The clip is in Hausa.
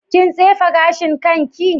Kin tsefe gashin kanki?